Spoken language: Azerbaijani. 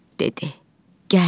dedi, gəl.